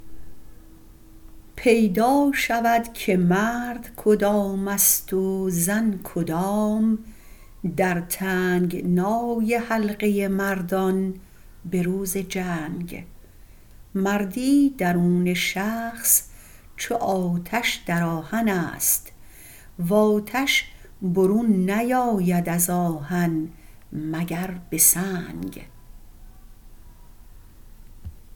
پیدا شود که مرد کدامست و زن کدام در تنگنای حلقه مردان به روز جنگ مردی درون شخص چو آتش در آهنست و آتش برون نیاید از آهن مگر به سنگ